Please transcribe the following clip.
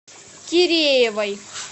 киреевой